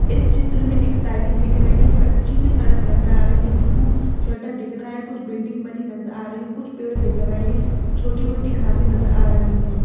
इस चित्र में एक साइकिल दिख रही हैं कच्ची सी सड़क नजर आ रहा हैं ये ब्लू शड्डा दिख रहा हैं कुछ बिल्डिंग बनी नजर आ रही हैं कुछ पेड़ दिख रहे हैं छोटी-मोटी घासे नजर आ रही हैं।